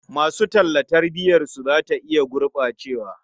Masu talla tarbiyarsu za ta iya gurɓacewa.